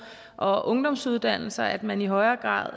og ungdomsuddannelserne og at man i højere grad